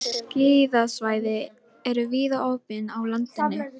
Skíðasvæði eru víða opin á landinu